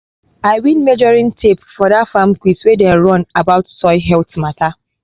i win measuring tape for that farm quiz wey dem um run about soil health matter.